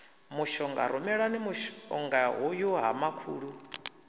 mushonga rumelani mushongahoyu ha makhulu